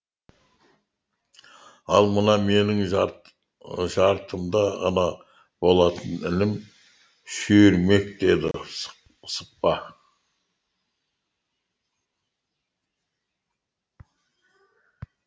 ал мына менің жартымды ғана болатын інім шүйірмек деді сықпа